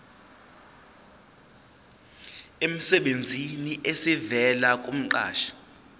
emsebenzini esivela kumqashi